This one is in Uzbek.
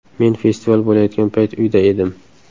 Men festival bo‘layotgan payt uyda edim.